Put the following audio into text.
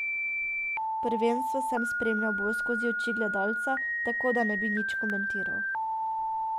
Prvenstvo sem spremljal bolj skozi oči gledalca, tako da ne bi nič komentiral.